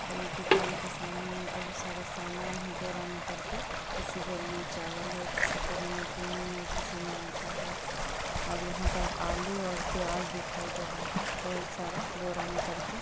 और ये दुकान के सामने में बहोत सारा सामान है बोरा में करके किसी बोरे में चावल है किसी बारे में गेहूं हैं किसी में आटा है और यहाँ पर आलू और प्याज दिखाई दे रहे हैं बहोत सारा बोरा में करके।